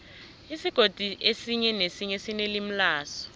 isigodi esinye nesinye sinelimi laso